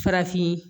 Farafin